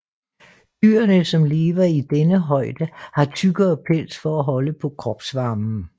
Dyrene som lever i denne højde har tykkere pels for at holde på kropsvarmen